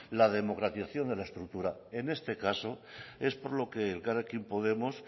la democratización de la estructura en este caso es por lo que elkarrekin podemos